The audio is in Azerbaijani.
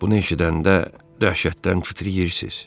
Bunu eşidəndə dəhşətdən fitriyirsiz.